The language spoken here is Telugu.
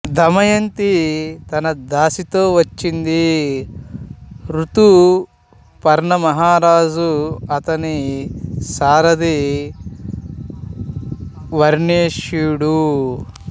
దమయంతి తన దాసితో వచ్చింది ఋతుపర్ణ మహారాజు అతని సారధి వార్ష్ణేయుడు